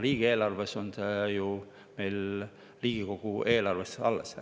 Riigieelarvest on see on ju meil Riigikogu eelarves alles.